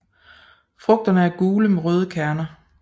Frugterne er gule med røde kerner